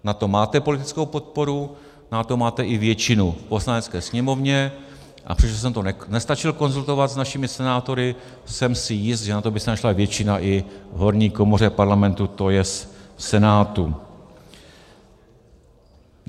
Na to máte politickou podporu, na to máte i většinu v Poslanecké sněmovně, a přestože jsem to nestačil konzultovat s našimi senátory, jsem si jist, že na to by se našla většina i v horní komoře Parlamentu, to je v Senátu.